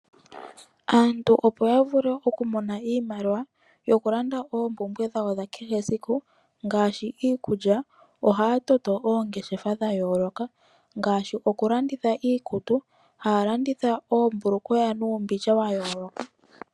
Aantu opo yavule okumona iimaliwa yokulanda oompumbwe dhawo dhakehe esiku, ngaashi iikulya ohaya toto oongeshefa dhayooloka ngaashi okulanditha iikutu haya landitha oombulukweya nuumbindja wayooloka.